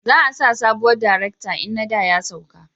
Za a sa sabuwar darekta in na da ya sauka